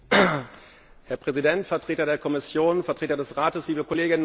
Herr Präsident, Vertreter der Kommission, Vertreter des Rates, liebe Kolleginnen und Kollegen!